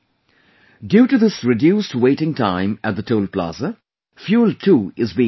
Due to this reduced waiting time at the Toll plaza, fuel too is being saved